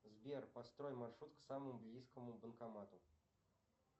сбер построй маршрут к самому близкому банкомату